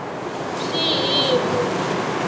xihimu